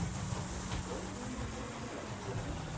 যদি ফল পাই না তাহলে কি লাভ খেটে?